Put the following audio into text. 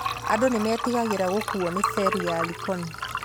Andũ nĩmetigagĩra gũkuuo nĩ ferĩ ya Likoni